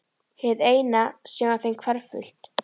Hið eina sem var þeim hverfult.